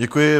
Děkuji.